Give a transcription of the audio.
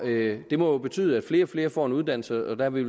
det må betyde at flere og flere får en uddannelse og der er vi